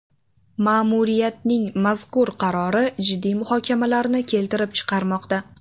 Ma’muriyatning mazkur qarori jiddiy muhokamalarni keltirib chiqarmoqda.